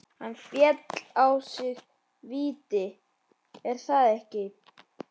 Hann fékk á sig víti, er það ekki?